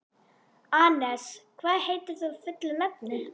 Anes, hvað heitir þú fullu nafni?